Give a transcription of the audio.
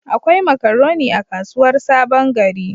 Akwai makaroni a kasuwar Sabon gari.